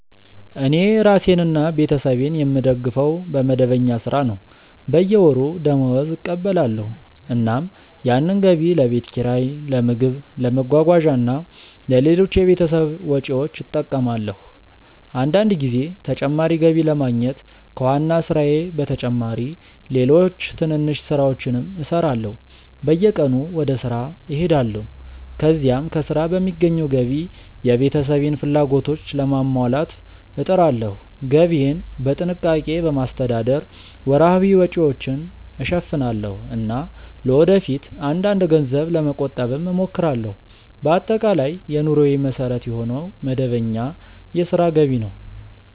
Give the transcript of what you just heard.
እኔ ራሴንና ቤተሰቤን የምደግፈው በመደበኛ ሥራ ነው። በየወሩ ደመወዝ እቀበላለሁ፣ እናም ያንን ገቢ ለቤት ኪራይ፣ ለምግብ፣ ለመጓጓዣ እና ለሌሎች የቤተሰብ ወጪዎች እጠቀማለሁ። አንዳንድ ጊዜ ተጨማሪ ገቢ ለማግኘት ከዋና ሥራዬ በተጨማሪ ሌሎች ትንንሽ ሥራዎችንም እሠራለሁ። በየቀኑ ወደ ሥራ እሄዳለሁ፣ ከዚያም ከሥራ በሚገኘው ገቢ የቤተሰቤን ፍላጎቶች ለማሟላት እጥራለሁ። ገቢዬን በጥንቃቄ በማስተዳደር ወርሃዊ ወጪዎችን እሸፍናለሁ እና ለወደፊት አንዳንድ ገንዘብ ለመቆጠብም እሞክራለሁ። በአጠቃላይ የኑሮዬ መሠረት የሆነው መደበኛ የሥራ ገቢ ነው።